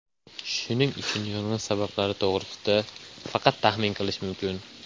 Shuning uchun yong‘in sabablari to‘g‘risida faqat taxmin qilish mumkin.